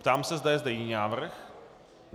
Ptám se, zda je zde jiný návrh.